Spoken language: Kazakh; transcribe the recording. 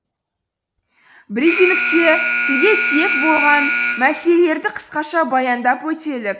брифингте тілге тиек болған мәселелерді қысқаша баяндап өтелік